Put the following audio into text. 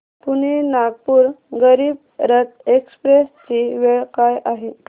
Pune Nagpur Garib Rath express ची वेळ काय आहे